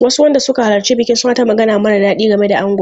Wasu wanda suka halarci bikin suna ta magana mara daɗi game da angon.